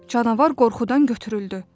Canavar qorxudan götürüldü.